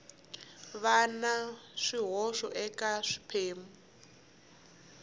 va na swihoxo eka swiphemu